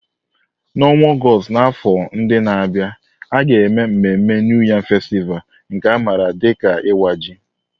N'ọnwa Ọgọst n'afọ ndị na-abịa, a ga-eme mmemme New Yam Festival, nke a maara dị ka Iwa Ji.